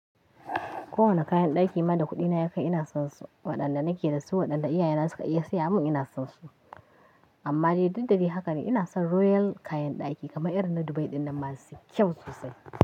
Kowane kayan ɗaki ma da kuɗina ya kai ina son su, waɗanda nake da su waɗanda iyayena suka iya saya mun ina son su. Amma dai daddare haka ne ina son royal kayan ɗaki kamar irin na Dubai dinnan masu kyau sosai.